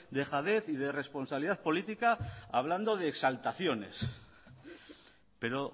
dejadez y de responsabilidad política hablando de exaltaciones pero